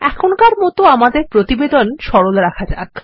এখনকার মত আমাদের প্রতিবেদন সরলরাখা যাক